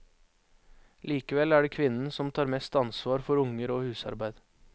Likevel er det kvinnen som tar mest ansvar for unger og husarbeid.